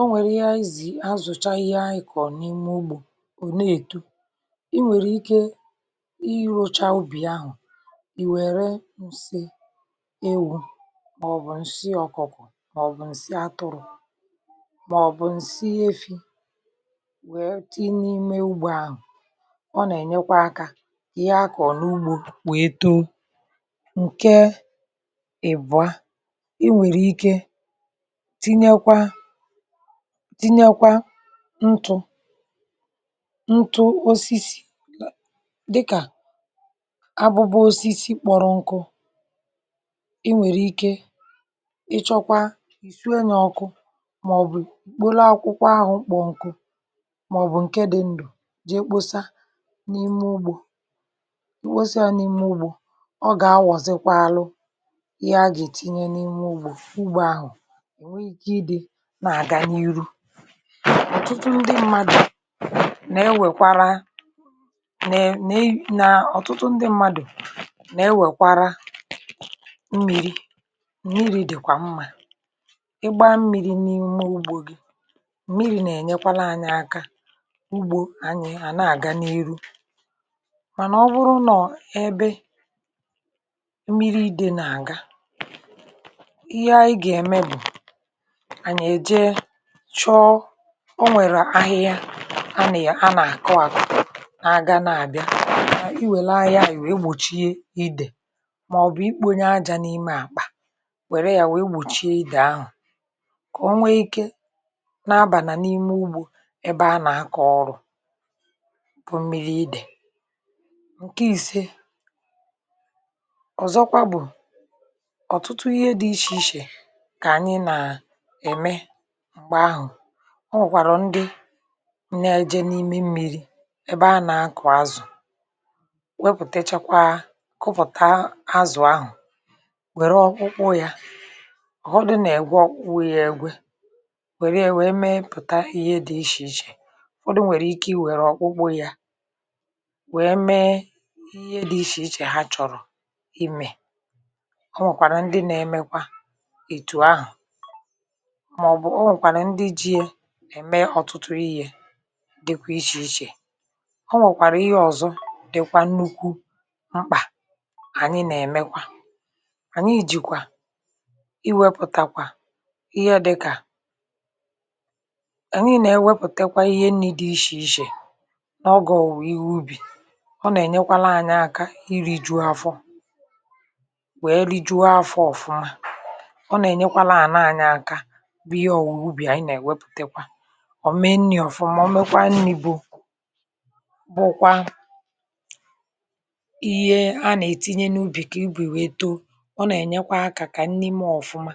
O nwèrè ihe ànyị zì àzụ̀cha ihe anyị̇ kọ̀ n’ime ugbȯ ọ̀ na-èto. ị nwèrè ike irȯcha ubì ahụ̀ ì wère msi ewu,̇ màọ̀bụ̀ ǹsi ọ̀kụkọ̀, màọ̀bụ̀ ǹsi atụrụ,̇ màọ̀bụ̀ ǹsi efi̇ wèe ti n'ime ugbȯ ahụ̀. ọ nà-ènyekwa akȧ ihe akọ̀ n’ugbȯ wèe too. Nkè ị̀bụ̀a, ị nwèrè ike tinyekwa tinyekwa ntù ntù osisi dịkà; abụbụ osisi kpọrọ nkụ. ị nwèrè ike, ịchọkwa ì suo yà na ọkụ, mà ọ̀ bụ̀ kpolo akwụkwọ ahụ̇ kpọ̀ọ nkụ mà ọ̀ bụ̀ ǹke dị ǹdụ̀ jee kposa n’ime ugbȯ. ị kposa ya n’ime ugbȯ, ọ gà awọ̀zịkwa alụ ihe a gà ètinye n’ime ugbȯ, ugbȯ ahụ̀ nwèè ikė idi n'iru. ọ̀tụtụ ndị mmadụ̀ nà-ewèkwara, nà-ènye nà, ọ̀tụtụ ndị mmadụ̀ nà-ewèkwara mmiri.̇ Mmiri̇ dị̀kwà mmȧ. ịgbȧ mmiri̇ n’ime ugbȯ gị, mmiri̇ nà-ènyekwala anyị aka ugbȯ anyị à nà-àga n’ihu. Mànà ọ bụrụ nọ̀ ebe mmiri̇ ịdė nà-àga, ihe anyị gà-ème bụ̀, anyị èjè chọọ, ọ nwèrè ahịhịa a ne, a nà àkụ àkụ na-aga na-àbịa, i wère ahịhịa àhụ iwe egbòchie idè. Màọbụ̀ ikpėonye aja n’ime àkpà wère ya wee gbòchie idè ahụ̀, kà o nwee ike na-abà nà n’ime ugbȯ ebe a nà aka ọrụ,̇ bụ̀ mmiri idè. Nkè ìse ọ̀zọkwa bụ̀, ọ̀tụtụ ihe dị̇ ichè ichè kà ànyị nà-ème m̀gbe ahụ̀. ọ nwèkwàrà ndị na-ejė n’ime mmi̇ri̇ ebe anà-akụ̀ azụ̀, wepụ̀tà echekwaa kụpụ̀tà azụ̀ ahụ̀ wère ọkpụkpụ yȧ, ọ̀ họdụ nà-ègwe ọkpụkpụ yȧ egwe, wère yȧ wèe meepụ̀ta ihe dị̇ ichè ichè. Ufọdụ nwèrè ike i wère ọkpụkpụ yȧ wèe mee ihe dị̇ ichè ichè ha chọ̀rọ̀ imė. ọ nwèkwàrà ndị nȧ-emekwa etụ̀ ahụ̀. Màọbụ, o nwèkwara ǹdi ji yà ẹ̀mẹ ọ̀tụtụ ihe dịkwa ichè ichè. O nwẹ̀kwàrà ihe ọ̀zọ dịkwa nnukwu mkpà ànyị nà ẹ̀mẹkwa. Anyị jìkwà iwepùtakwa ihe dịkà, ànyị nà-ẹwepùtekwa ihe nni̇ dị ishè ishè n'ọgọ̀ òwùwè ihė ubì, ọ nà ẹ̀nyẹkwara anyị aka iri̇ juu afọ,̇ wee rijuo afọ ọ̀fụma. ọ̀ nà-ènyekwara anyị àlà anyị akà bu ìhe òwùwè ihė ubì anyị na-eweputakwa omee nni̇ ọ̀fụma. O mekwa nni̇ bụ bụkwa ihe a nà-ètinye n’ubì kà ibu̇ wèe too. ọ nà-ènyekwa akȧ kà nni mee ọ̀fụma,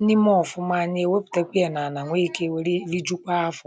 nni mee ọ̀fụma, anyị̇ èwepùtekwa ị̀ na-ànà nwe ikė wèrè rijukwa afọ̀.